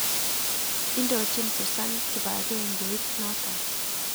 Indochin Susan kibang'engeit noton.